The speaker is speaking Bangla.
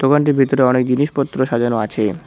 দোকানটির ভিতরে অনেক জিনিসপত্র সাজানো আছে।